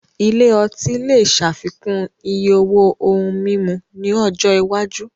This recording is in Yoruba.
Ilé ọtí lè ṣàfikún iye owó ohun mímu ní ọjọ́ iwájú